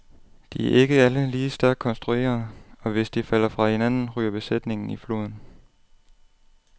De er ikke alle lige stærkt konstruerede, og hvis de falder fra hinanden, ryger besætningen i floden.